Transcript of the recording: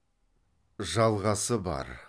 жалғасы бар